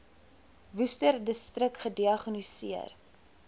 worcesterdistrik gediagnoseer